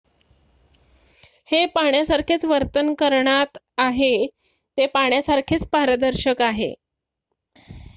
"""हे पाण्यासारखेच वर्तन करणात आहे ते पाण्यासारखेच पारदर्शक आहे.